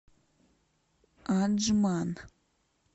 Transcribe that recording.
аджман